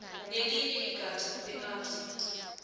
nelinye igatja leabsa